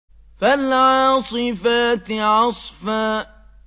فَالْعَاصِفَاتِ عَصْفًا